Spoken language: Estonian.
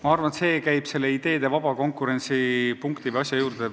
Ma arvan, et see haakub ideede vaba konkurentsi teemaga.